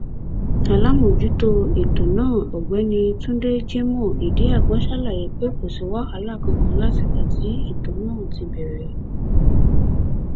aláàmọjútó ètò náà ọgbẹni túnde jimoh idiagbọn ṣàlàyé pé kò sí wàhálà kankan látìgbà tí ètò náà ti bẹrẹ